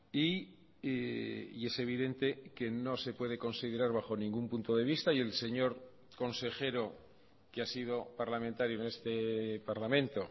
y es evidente que no se puede considerar bajo ningún punto de vista y el señor consejero que ha sido parlamentario en este parlamento